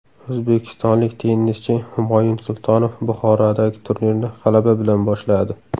O‘zbekistonlik tennischi Humoyun Sultonov Buxorodagi turnirni g‘alaba bilan boshladi.